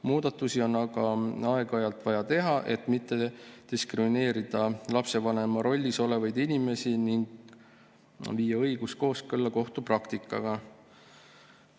Muudatusi on aga aeg-ajalt vaja teha, et mitte diskrimineerida lapsevanema rollis olevaid inimesi ning viia õigus kooskõlla kohtupraktikaga.